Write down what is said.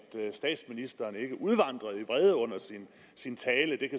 statsministeren ikke udvandrede i vrede under sin tale det